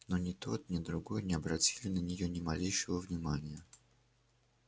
но ни тот ни другой не обратили на нее ни малейшего внимания